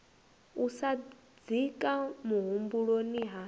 u sa dzika muhumbuloni ha